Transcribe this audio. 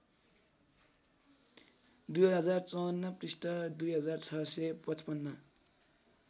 २०५४ पृष्ठ २६५५